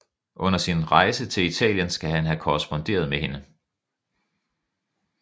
Under sin rejse til Italien skal han have korresponderet med hende